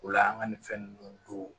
O la an ka nin fɛn ninnu do